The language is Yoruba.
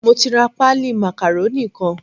Mo ti ra páálí màkàrónì kan.